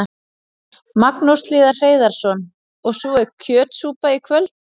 Magnús Hlynur Hreiðarsson: Og svo er kjötsúpa í kvöld?